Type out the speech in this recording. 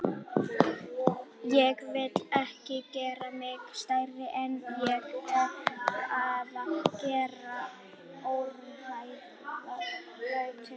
Ég vil ekki gera mig stærri en ég er eða gera óraunhæfar væntingar.